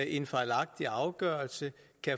en fejlagtig afgørelse